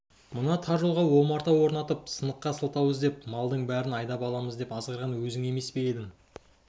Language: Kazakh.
мына тар жолға омарта орнатып сыныққа сылтау іздеп малдың бәрін айдап аламыз деп азғырған өзің емес пе едің